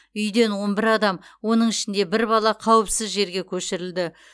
үйден он бір адам оның ішінде бір бала қауіпсіз жерге көшірілді